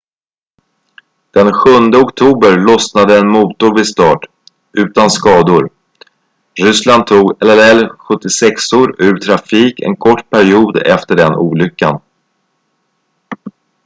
den 7 oktober lossnade en motor vid start utan skador. ryssland tog il-76:or ur trafik en kort period efter den olyckan